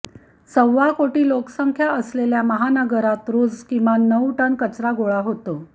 सव्वा कोटी लोकसंख्या असलेल्या महानगरात रोज किमान नऊ टन कचरा गोळा होतो